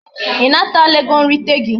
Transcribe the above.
I natala ego nrite gi?